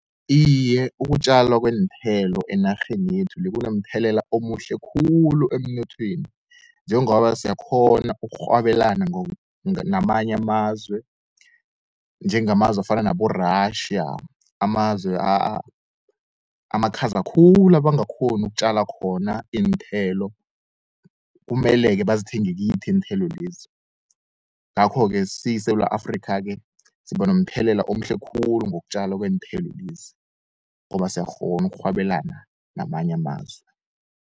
Iye, ukutjalwa kweenthelo enarheni yethu le kunomthelela omuhle khulu emnothweni, njengoba siyakhona ukurhwabelana namanye amazwe, njengamazwe afana nabo-Russia. Amazwe amakhaza khulu abangakhoni ukutjala khona iinthelo, kumele-ke bazithenge kithi iinthelo lezi. Ngakho-ke siyiSewula Afrika-ke siba nomthelela omuhle khulu ngokutjalwa kweenthelo lezi ngoba siyakghona ukurhwabelana namanye amazwe.